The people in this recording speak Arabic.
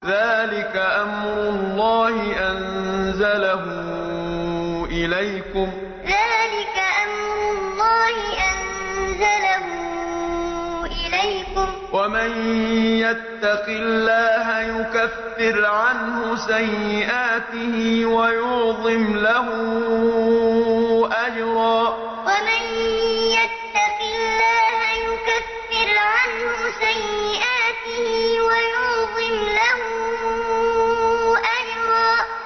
ذَٰلِكَ أَمْرُ اللَّهِ أَنزَلَهُ إِلَيْكُمْ ۚ وَمَن يَتَّقِ اللَّهَ يُكَفِّرْ عَنْهُ سَيِّئَاتِهِ وَيُعْظِمْ لَهُ أَجْرًا ذَٰلِكَ أَمْرُ اللَّهِ أَنزَلَهُ إِلَيْكُمْ ۚ وَمَن يَتَّقِ اللَّهَ يُكَفِّرْ عَنْهُ سَيِّئَاتِهِ وَيُعْظِمْ لَهُ أَجْرًا